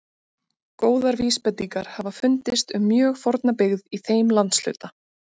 Góðar vísbendingar hafa fundist um mjög forna byggð í þeim landshluta.